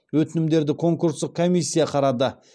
өтінімдерді конкурстық комиссия қарады